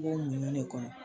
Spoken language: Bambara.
I b'o muɲun kɔnɔ.